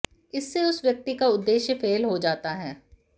इससे उस व्यक्ति का उद्देश्य फेल हो जाता है